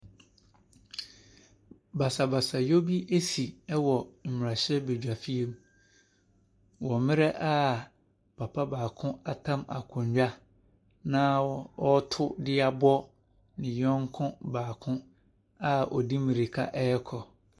Basabasayɛ bi asi wɔ mmarahyɛbaguam wɔ bere a papa afa akonnwa na ɔreto de abɔ ne yɔnko baako a ɔde mmirika rekɔ.